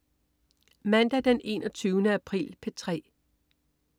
Mandag den 21. april - P3: